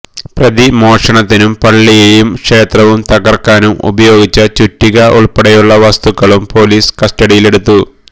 പ്രതി മോഷണത്തിനും പള്ളിയും ക്ഷേത്രവും തകർക്കാനും ഉപയോഗിച്ച ചുറ്റിക ഉൾപ്പെടെയുള്ള വസ്തുക്കളും പൊലീസ് കസ്റ്റഡിയിലെടുത്തു